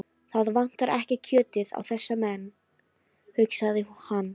Það vantar ekki kjötið á þessa menn, hugsaði hann.